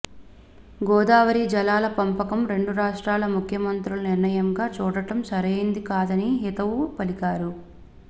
గోదావరి జలాల పంపకం రెండు రాష్ట్రాల ముఖ్యమంత్రుల నిర్ణయంగా చూడటం సరైంది కాదని హితవు పలికారు